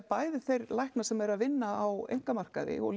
bæði þeir læknar sem eru að vinna á einkamarkaði og